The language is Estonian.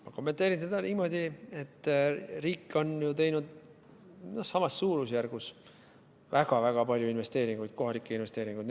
Ma kommenteerin seda niimoodi, et riik on teinud samas suurusjärgus väga-väga palju investeeringuid, kohalikke investeeringuid.